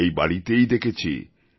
এই বাড়িতেই দেখেছি